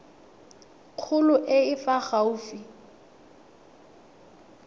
kgolo e e fa gaufi